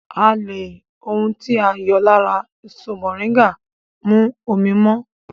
À lè ohun tí a yọ lára èso mọ̀ríńgà mú omi mọ́